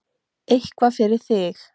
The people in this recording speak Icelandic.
Eitthvað fyrir þig